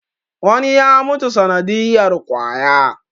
wani ya mutu sanadiyar kwaya